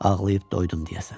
Ağlayıb doydum deyəsən.